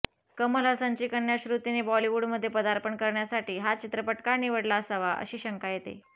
कमल हसनची कन्या श्रुतीने बॉलीवूडमध्ये पदार्पण करण्यासाठी हा चित्रपट का निवडला असावा अशी शंका येते